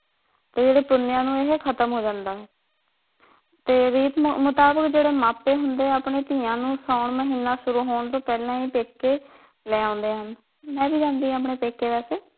ਤੇ ਜਿਹੜੀ ਪੁਨਿਆ ਨੂੰ ਇਹ ਖ਼ਤਮ ਹੋ ਜਾਂਦਾ ਏ ਤੇ ਰੀਤ ਮੁਤਾਬਿਕ ਜਿਹੜੇ ਮਾਪੇ ਹੁੰਦੇ ਉਹ ਆਪਣੀਆਂ ਧੀਆਂ ਨੂੰ ਸਾਉਣ ਮਹੀਨਾ ਸ਼ੁਰੂ ਹੋਣ ਤੋਂ ਪਹਿਲਾ ਈ ਪੇਕੇ ਲੈ ਆਉਂਦੇ ਆ ਹਨ ਮੈ ਵੀ ਜਾਂਦੀ ਆਪਣੀ ਪੇਕੇ ਵੈਸੇ।